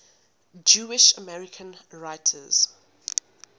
jewish american writers